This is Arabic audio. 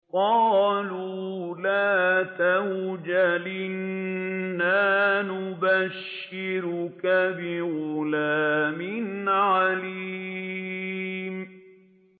قَالُوا لَا تَوْجَلْ إِنَّا نُبَشِّرُكَ بِغُلَامٍ عَلِيمٍ